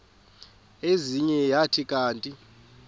ezinye zathi kanti